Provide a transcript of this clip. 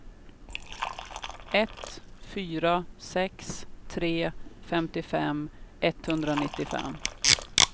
ett fyra sex tre femtiofem etthundranittiofem